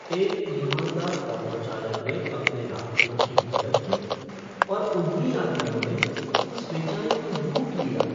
एक ईमानदार ऑटो चालक ने अपने यात्रियों की मदद की और उन्हीं यात्रियों ने उस बेचारे को लूट लिया।